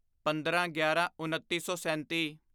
ਪੰਦਰਾਂਗਿਆਰਾਂਉੱਨੀ ਸੌ ਸੈਂਤੀ